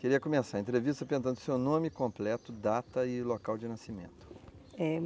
Queria começar a entrevista perguntando o seu nome completo, data e local de nascimento. É